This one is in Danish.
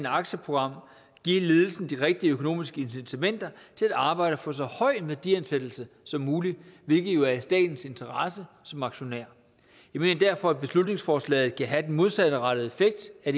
aktieprogram give ledelsen de rigtige økonomiske incitamenter til at arbejde for så høj en værdiansættelse som muligt hvilket jo er i statens interesse som aktionær jeg mener derfor at beslutningsforslaget kan have den modsatrettede effekt af